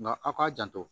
Nka aw k'a janto